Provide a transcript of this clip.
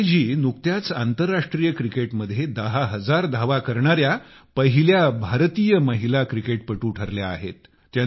मिताली जी नुकत्याच आंतरराष्ट्रीय क्रिकेटमध्ये दहा हजार धावा करणाऱ्या पहिल्या भारतीय महिला क्रिकेटपटू बनल्या आहेत